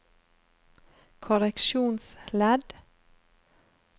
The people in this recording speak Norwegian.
korreksjonsledd